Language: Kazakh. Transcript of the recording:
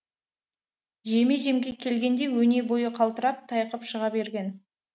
жеме жемге келгенде өне бойы қалтырап тайқып шыға берген